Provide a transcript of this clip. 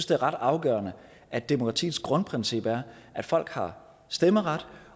det er ret afgørende at demokratiets grundprincip er at folk har stemmeret